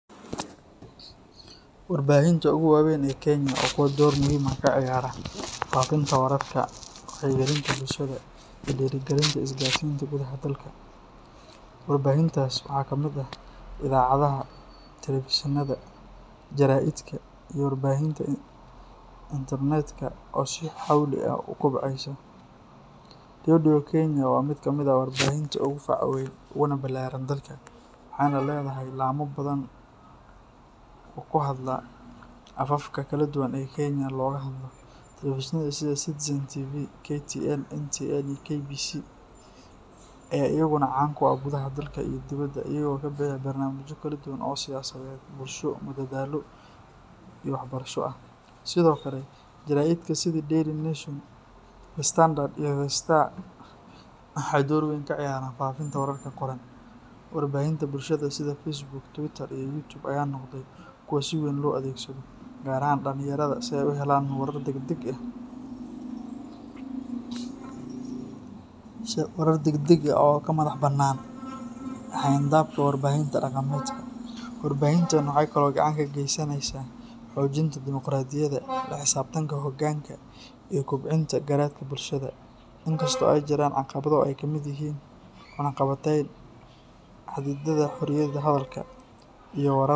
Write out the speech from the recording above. Warbaahinta ugu weyn ee Kenya waa kuwo door muhiim ah ka ciyaara faafinta wararka, wacyigelinta bulshada, iyo dhiirrigelinta isgaarsiinta gudaha dalka. Warbaahintaas waxaa kamid ah idaacadaha, telefishinnada, jaraa'idka, iyo warbaahinta internetka oo si xawli ah u kobcaysa. Radio Kenya waa mid ka mid ah warbaahinta ugu facaweyn uguna ballaaran dalka, waxayna leedahay laamo badan oo ku hadla afafka kala duwan ee Kenya looga hadlo. Telefishinnada sida Citizen TV, KTN, NTV, iyo KBC ayaa iyaguna caan ka ah gudaha dalka iyo dibadda, iyagoo bixiya barnaamijyo kala duwan oo siyaasadeed, bulsho, madadaalo, iyo waxbarasho ah. Sidoo kale, jaraa’idka sida Daily Nation, The Standard iyo The Star waxay door weyn ka ciyaaraan faafinta wararka qoran. Warbaahinta bulshada sida Facebook, Twitter, iyo YouTube ayaa noqday kuwo si weyn loo adeegsado, gaar ahaan dhallinyarada, si ay u helaan warar degdeg ah oo ka madaxbannaan xayndaabka warbaahinta dhaqameedka. Warbaahintani waxay kaloo gacan ka geysanaysaa xoojinta dimuqraadiyadda, la xisaabtanka hoggaanka, iyo kobcinta garaadka bulshada. In kasta oo ay jiraan caqabado ay ka mid yihiin cunaqabateyn, xadidaadda xorriyadda hadalka, iyo warar .